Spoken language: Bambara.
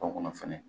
O kɔnɔ fɛnɛ